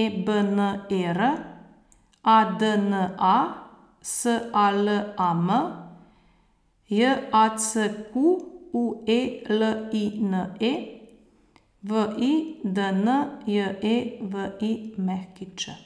E B N E R; A D N A, S A L A M; J A C Q U E L I N E, V I D N J E V I Ć.